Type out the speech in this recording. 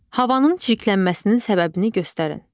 Havanın çirklənməsinin səbəbini göstərin.